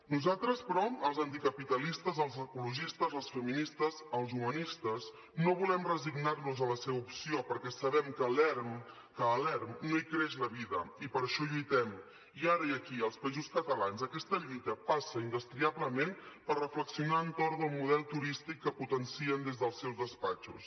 nosaltres però els anticapitalistes els ecologistes les feministes els humanistes no volem resignar nos a la seva opció perquè sabem que a l’erm a l’erm no hi creix la vida i per això lluitem i ara i aquí als països catalans aquesta lluita passa indestriablement per reflexionar entorn del model turístic que potencien des dels seus despatxos